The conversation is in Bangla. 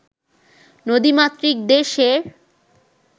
নদীমাতৃক দেশের